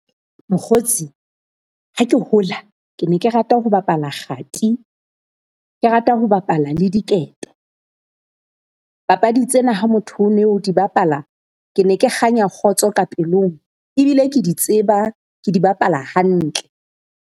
Mokgotsi ha ke hola ke ne ke rata ho bapala kgati, ke rata ho bapala le diketo. Papadi tsena ha motho o no di bapala, ke ne ke kganya kgotso ka pelong ebile ke di tseba ke di bapala hantle.